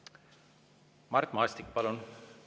Mart Maastik, palun!